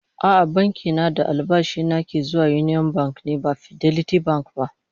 A'a, banki na da albashi na ke zuwa Union Bank ne ba Fidelity Bank ba